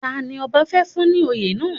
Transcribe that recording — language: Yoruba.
Tani ọba fẹ́ fún ní oyè náà?